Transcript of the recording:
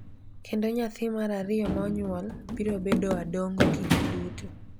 kendo nyathi mar ariyo ma onyuol biro bedo Adongo kinde duto.